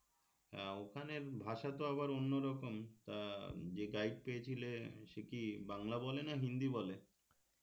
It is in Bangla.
হ্যাঁ ওখানের ভাষা তো আবার অন্যরকম তা যে guide পেয়েছিলে সে কি বাংলা বলে না হিন্দি বলে